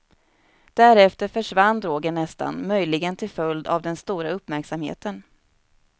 Därefter försvann drogen nästan, möjligen till följd av den stora uppmärksamheten.